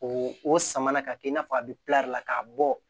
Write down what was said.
O o sama na ka kɛ i n'a fɔ a bɛ la k'a bɔ